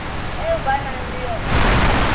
eo ba nang le yona